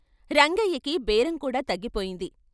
రంగయ్యకి బేరం కూడా తగ్గిపోయింది.